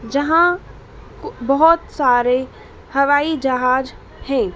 जहां बहोत सारे हवाई जहाज़ हैं।